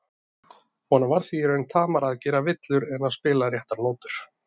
Honum var því í raun tamara að gera villur en að spila réttar nótur.